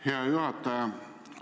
Hea juhataja!